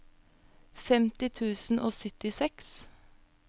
femti tusen og syttiseks